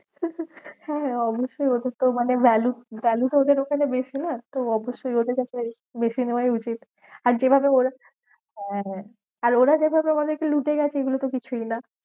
হ্যাঁ হ্যাঁ অবশ্যই ওদের তো মানে value value তো ওদের ওখানে বেশি না? তো অবশ্যই ওদের ব্যাপারে বেশি নেওয়াই উচিত। আর যেভাবে ওরা হ্যাঁ হ্যাঁ আর ওরা যেভাবে আমাদেরকে লুটে গেছে এগুলোতো কিছুই না।